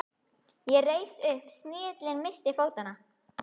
Ég reis upp, snigillinn missti fótanna.